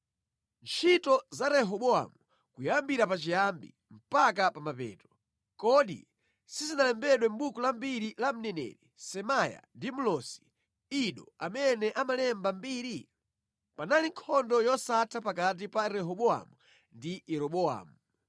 Ntchito za Rehobowamu, kuyambira pachiyambi mpaka pa mapeto, kodi sizinalembedwe mʼbuku la mbiri la mneneri Semaya ndi mlosi Ido amene amalemba mbiri? Panali nkhondo yosatha pakati pa Rehobowamu ndi Yeroboamu.